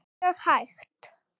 Mjög hægt.